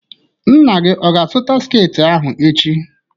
Nna gị ọ ga-azụta sketị ahụ echi?